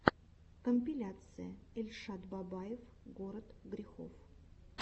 компиляция эльшад бабаев город грехов